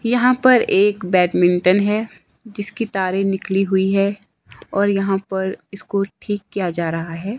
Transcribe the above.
यहां पर एक बैडमिंटन है जिसकी तारें निकली हुई है और यहां पर इसको ठीक किया जा रहा है।